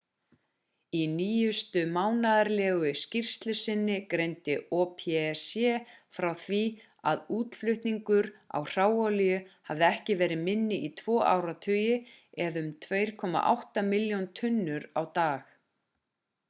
í nýjustu mánaðarlegu skýrslu sinni greindi opec frá því að útflutningur á hráolíu hafi ekki verið minni í tvo áratugi eða um 2,8 milljón tunnur á dag